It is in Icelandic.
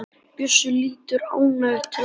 Bjössi lítur ánægður til Ásu.